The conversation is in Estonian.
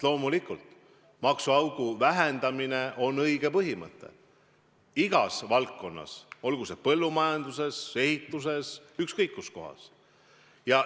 Loomulikult on maksuaugu vähendamine õige põhimõte – igas valdkonnas, olgu põllumajanduses, ehituses või ükskõik kus kohas.